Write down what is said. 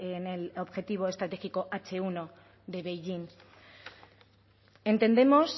en el objetivo estratégico hache uno de beijing entendemos